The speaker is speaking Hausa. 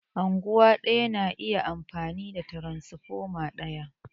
Unguwa ɗaya na iya amfani da tiransfoma ɗaya